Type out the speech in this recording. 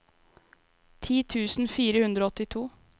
ti tusen fire hundre og åttito